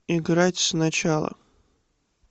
играть сначала